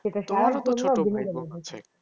তোমারও তো ছোট ভাই বোন আছে।